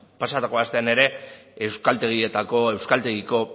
pasatako astean ere euskaltegietako euskaltegiko